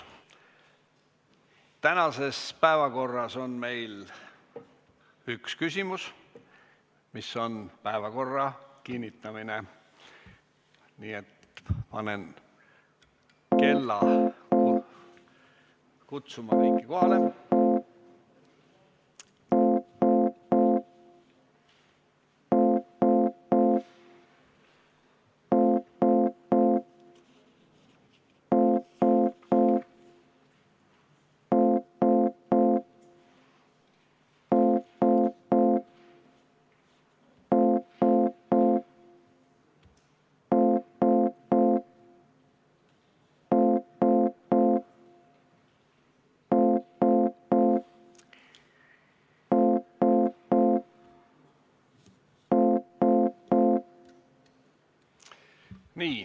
Tänases päevakorras on meil üks küsimus, mis on päevakorra kinnitamine, nii et panen kutsungi käima, et kõik tuleksid kohale.